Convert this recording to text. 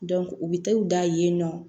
u bɛ taa u da yen nɔ